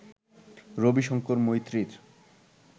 Rabi Shankar মৈত্রীর